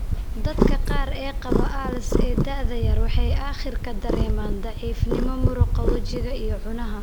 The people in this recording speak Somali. Dadka qaar ee qaba ALS ee da'da yar, waxay aakhirka dareemaan daciifnimo muruqa wejiga iyo cunaha.